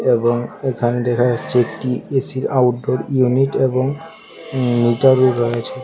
এবং এখানে দেখা যাচ্ছে একটি এসির আউটডোর ইউনিট এবং মিটারও রয়েছে।